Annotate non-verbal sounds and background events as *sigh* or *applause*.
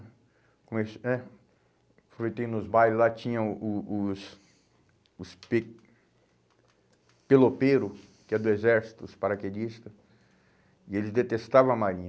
*unintelligible* né? Aproveitei nos bailes, lá tinha o o os os pe pelopeiros, que é do exército, os paraquedista, e eles detestavam a Marinha.